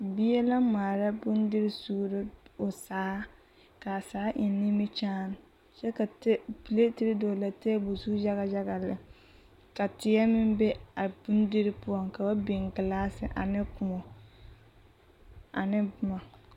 Bie la ŋmaara bondiri suuro o saa ka a saa eŋ nimikyaane kyɛ ka piletere dɔɔle a teebul zu yaɡayaɡa lɛ ka teɛ meŋ be a bondiri poɔŋ ka ba biŋ ɡelaase ane kõɔ ane boma.